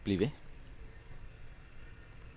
bliv ved